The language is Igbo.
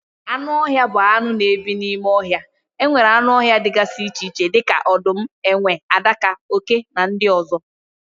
Anụ ọhịa bụ anụ na ebi n'ime ohia. Enwere anụ ọhịa dịgasị iche iche dịka odum, enwe, adaka, oké na ndị ozo